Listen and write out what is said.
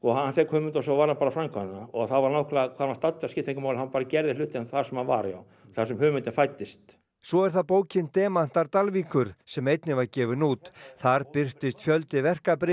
hann fékk hugmyndina og svo varð hann bara að framkvæma hana þá var nákvæmlega sama hann var staddur það skipti engu máli hann bara gerði hlutina þar sem hann var þar sem hugmyndin fæddist svo er það bókin demantar Dalvíkur sem einnig var gefin út þar birtist fjöldi verka